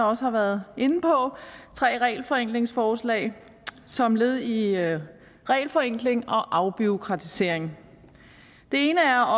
også har været inde på tre regelforenklingsforslag som led i regelforenkling og afbureaukratisering det ene er